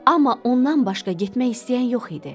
Amma ondan başqa getmək istəyən yox idi.